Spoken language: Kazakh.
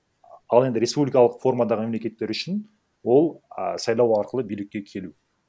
ал енді республикалық формадағы мемлекеттер үшін ол а сайлау арқылы билікке келу